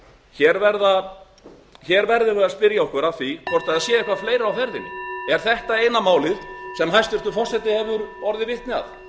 hér verðum við að spyrja okkur hvort það sé eitthvað fleira á ferðinni er þetta eina málið sem hæstvirtur forseti hefur orðið vitni að